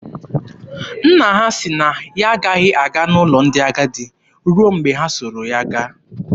Nna ha sị na ya agaghị aga n'ụlọ ndị agadi garuo mgbe ha soro ya gaa.